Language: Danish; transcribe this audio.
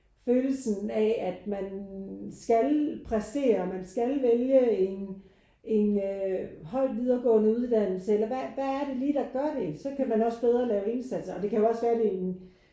Følelsen af at man skal præstere og man skal vælge en en øh høj videregående uddannelse eller hvad hvad er det lige der gør det? Så kan man også bedre lave indsatser og det kan jo også være det er en